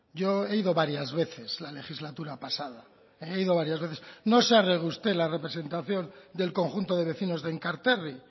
yo he ido varias veces en la legislatura pasada he ido varias veces no sabe usted la representación del conjunto de vecinos de enkarterri